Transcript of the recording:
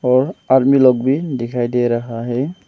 और आर्मी लोग भी दिखाई दे रहा है।